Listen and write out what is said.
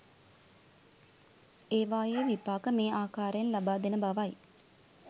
ඒවායේ විපාක මේ ආකාරයෙන් ලබා දෙන බවයි